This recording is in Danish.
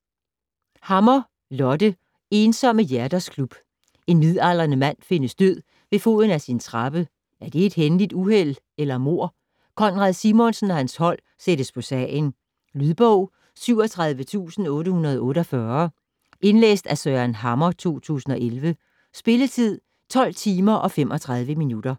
Hammer, Lotte: Ensomme hjerters klub En midaldrende mand findes død ved foden af sin trappe - er det et hændeligt uheld eller mord? Konrad Simonsen og hans hold sættes på sagen. Lydbog 37848 Indlæst af Søren Hammer, 2011. Spilletid: 12 timer, 35 minutter.